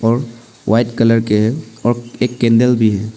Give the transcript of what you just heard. और white colour के हैं और एक कैंडल भी है।